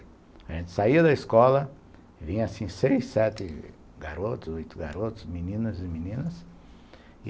A gente saía da escola, vinha assim seis, sete garotos, oito garotos, meninos e meninas.